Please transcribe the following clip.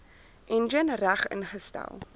enjin reg ingestel